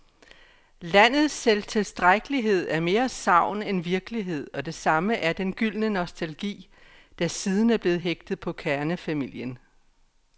Landets selvtilstrækkelighed er mere sagn end virkelighed, og det samme er den gyldne nostalgi, der siden er blevet hægtet på kernefamilien.